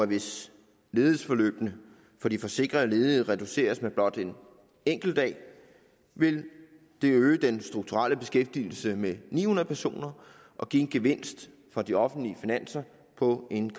hvis ledighedsforløbene for de forsikrede ledige reduceres med blot en enkelt dag vil det øge den strukturelle beskæftigelse med ni hundrede personer og give en gevinst på de offentlige finanser på en